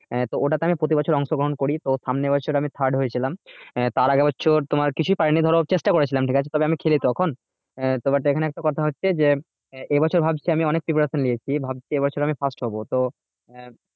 হ্যাঁ তো ওটাতে আমি প্রতি বছর অংশগ্রহণ করি তো সামনে বছর আমি third হয়ে ছিলাম আহ তার আগের বছর তোমার কিছুই পাইনি ধরো চেষ্টা করে ছিলাম ঠিক আছে তবে আমি খেলি তখন আহ তো but এখানে একটা কথা হচ্ছে যে আহ এ বছর ভাবছি যে আমি অনেক preparation নিয়েছি ভাবছি যে এ বছর আমি first হবো তো আহ